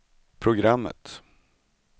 programmet